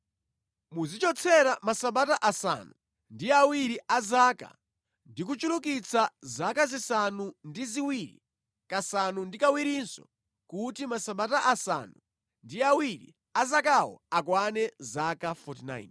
“ ‘Muzichotsera Masabata asanu ndi awiri a zaka, ndi kuchulukitsa zaka zisanu ndi ziwiri kasanu ndi kawirinso kuti Masabata asanu ndi awiri a zakawo akwane zaka 49.